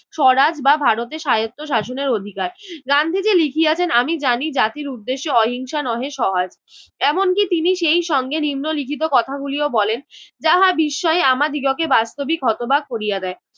সরাজ বা ভারতের স্বায়ত্বশাসনের অধিকার। গান্ধীজি লিখিয়াছেন আমি জানি জাতির উদ্দেশ্যে অহিংসা নহে সহায়। এমনকি তিনি সেই সঙ্গে নিম্নলিখিত কথাগুলিও বলেন যাহা বিস্ময়ে আমাদিগকে বাস্তবিক হতবাক করিয়া দেয়।